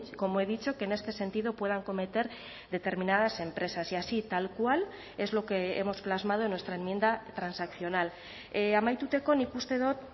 como he dicho que en este sentido puedan cometer determinadas empresas y así tal cual es lo que hemos plasmado en nuestra enmienda transaccional amaituteko nik uste dut